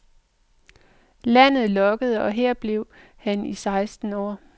Landet lokkede, og her blev han i seksten år.